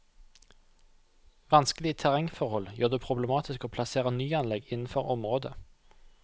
Vanskelige terrengforhold gjør det problematisk å plassere nyanlegg innenfor området.